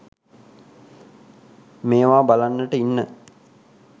මේවා බලන්නට ඉන්න